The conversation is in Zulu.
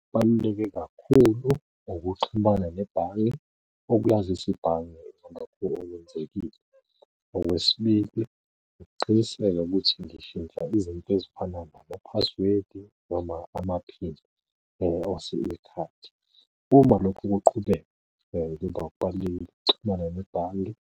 Okubaluleke kakhulu, ukuxhumana nebhange ukwazisa ibhange lakho okwenzekile. Okwesibili ukuqiniseka ukuthi ngishintsha izinto ezifana nama-password noma ama-pin ekhadi. Uma lokho kuqhubeka ngemva ukuxhumana nebhange,